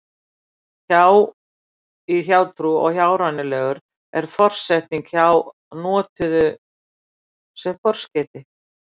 hjá í hjátrú og hjárænulegur er forsetningin hjá notuð sem forskeyti